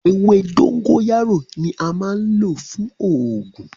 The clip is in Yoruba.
Ẹwẹ̀ dòngóyàró ni àmà n lọ̀ fún oogun.